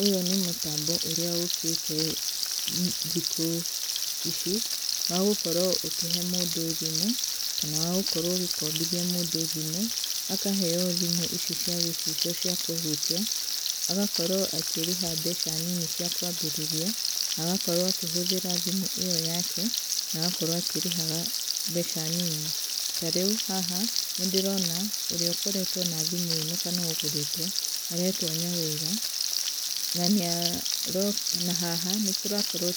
Ũyũ nĩ mũtambo ũrĩa ũkĩte thikũ ici wagũkorwo ũkĩhe mũndũ thimũ kana wagũkorwo ũgĩkobithia mũndũ thimũ akaheo thimũ ici cia gĩcicio ciakũhutia agakorwo akĩrĩha mbeca nini cia kwambĩrĩria, agakorwo akĩhũthĩra thimũ ĩyo yake, na agakorwo agĩkĩrĩha mbeca nini, tarĩũ haha nĩndĩrona ũrĩa ũkoretwe na thimu ĩno kana ũgũrĩte aretwa Nyawĩra, na haha nĩtũrakorwo